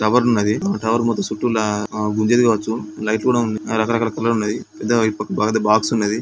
Tower ఉన్నది. ఈ tower మొత్తం చుట్టూరా ఆ తిరగచ్చు. లైట్ లు కూడా ఉన్నాయి. రకరకాల కులర్ ఉన్నయి. పెద్దగా అ బ-బాక్స్ ఉన్నది.